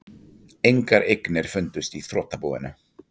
Engar eignir fundust í þrotabúinu